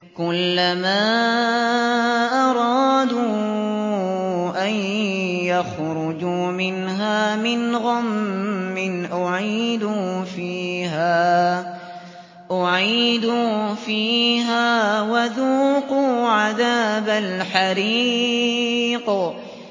كُلَّمَا أَرَادُوا أَن يَخْرُجُوا مِنْهَا مِنْ غَمٍّ أُعِيدُوا فِيهَا وَذُوقُوا عَذَابَ الْحَرِيقِ